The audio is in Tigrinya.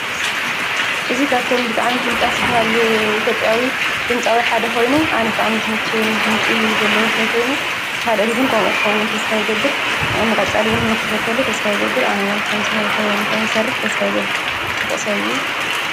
እዚ ካብቶም ብጣዕሚ ፍሉጣት ዝባሃሉ ኢትዮጵያዊ ድምፃዊ ሓደ ኮይኑ ኣነ ብጣዕሚ እዩ ዝምችወኒ ደምፂ ዘለዎ ሰብ ኮይኑ ካልኦትን ከምኡ ክኸውን ተስፋ ይገብር ንቀፃሊ እውን ንክኽተሎ ተስፋ ይገብር ኣነ እውን ከምዚ ንክሰርሕ ተስፋ ይገብር ፅቡቕ ሰብ እዩ።